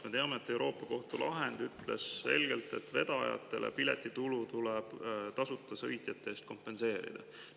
Me teame, et Euroopa Kohtu lahend ütleb selgelt, et vedajatele tuleb piletitulu tasuta sõitjate eest kompenseerida.